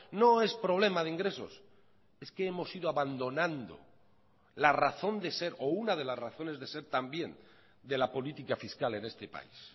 no es problema de ingresos es que hemos ido abandonando la razón de ser o una de las razones de ser también de la política fiscal en este país